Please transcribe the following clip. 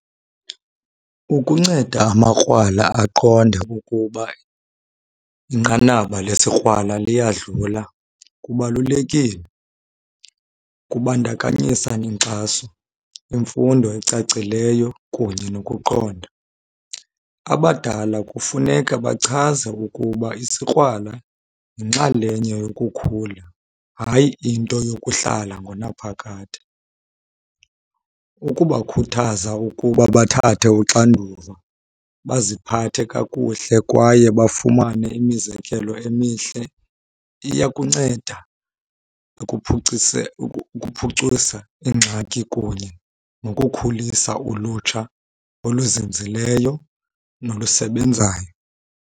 Ukunceda amakrwala aqonde ukuba inqanaba lesikrwala liyadlula kubalulekile. Kubandakanyisa inkxaso, imfundo ecacileyo, kunye nokuqonda. Abadala kufuneka bachaze ukuba isikrwala yinxalenye yokukhula hayi into yokuhlala ngonaphakade. Ukubakhuthaza ukuba bathathe uxanduva, baziphathe kakuhle, kwaye bafumane imizekelo emihle iyakunceda ukuphucisa ingxaki kunye nokukhulisa ulutsha oluzinzileyo nolusebenzayo.